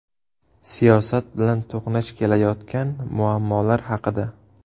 Siyosat bilan to‘qnash kelayotgan muammolar haqida.